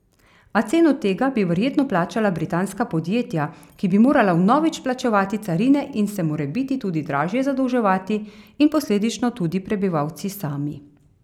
A ceno tega bi verjetno plačala britanska podjetja, ki bi morala vnovič plačevati carine in se morebiti tudi dražje zadolževati, in posledično tudi prebivalci sami.